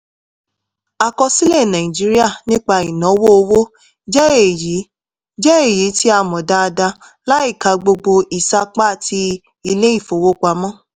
àkọsílẹ̀ nàìjíríà nípa ìnáwó owó jẹ́ èyí jẹ́ èyí tí a mọ̀ dáadáa láìka gbogbo ìsapá tí ilé-ifowopamọ